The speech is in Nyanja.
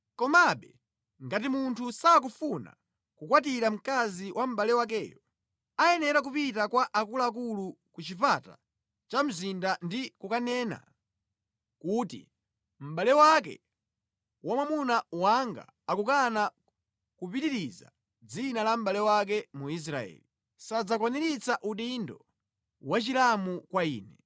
Komabe, ngati munthu sakufuna kukwatira mkazi wa mʼbale wakeyo, mkaziyo ayenera kupita kwa akuluakulu ku chipata cha mzinda ndi kukanena kuti, “Mʼbale wake wa mwamuna wanga akukana kupitiriza dzina la mʼbale wake mu Israeli. Iye akukana kulowa chokolo.”